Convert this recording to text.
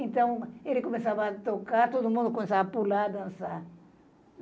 Então, ele começava a tocar, todo mundo começava a pular, a dançar.